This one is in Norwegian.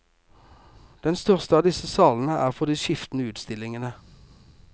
Den største av disse salene er for de skiftende utstillingene.